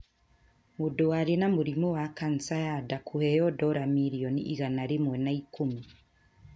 Mũndũ warĩ na mũrimũ wa kansa ya nda kũheo dola milioni igana rĩmwe na ikũmi